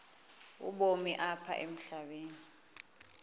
ubomi apha emhlabeni